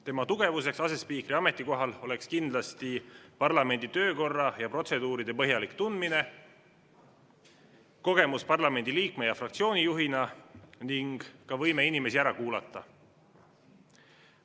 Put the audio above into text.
Tema tugevuseks asespiikri ametikohal oleks kindlasti parlamendi töökorra ja protseduuride põhjalik tundmine, kogemus parlamendi liikme ja fraktsiooni juhina ning ka võime inimesi ära kuulata.